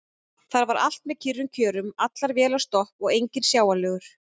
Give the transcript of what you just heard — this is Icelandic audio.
Þar var allt með kyrrum kjörum: allar vélar stopp og enginn sjáanlegur.